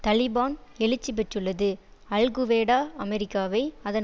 தலிபான் எழுச்சி பெற்றுள்ளது Al Qaeda அமெரிக்காவை அதன்